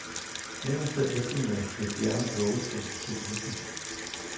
Onsdag eftermiddag blev bjerget lukket for cyklister.